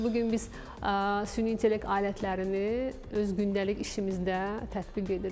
Bu gün biz süni intellekt alətlərini öz gündəlik işimizdə tətbiq edirik.